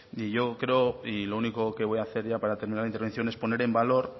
yo creo y lo único que voy a hacer ya para terminar mi intervención es poner en valor